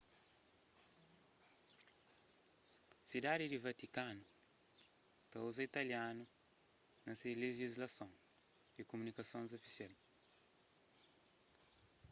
sidadi di vatikanu ta uza italianu na se lejislason y kumunikasons ofisial